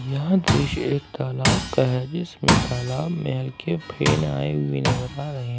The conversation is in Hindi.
यहां दृश्य एक तालाब का है जिसमें तालाब में हल्के फेन आए हुए नजर आ रहे हैं।